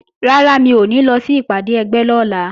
Rárá, mi ò ní lọ sí ìpàdé ẹgbẹ́ lọ́la